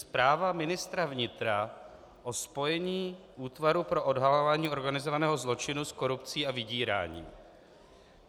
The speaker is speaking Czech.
Zpráva ministra vnitra o spojení Útvaru pro odhalování organizovaného zločinu s korupcí a vydíráním.